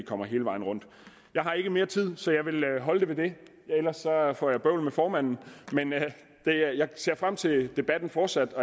kommer hele vejen rundt jeg har ikke mere tid så jeg vil holde med det ellers får jeg bøvl med formanden men jeg ser frem til den fortsatte